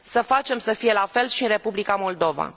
Să facem să fie la fel și în Republica Moldova.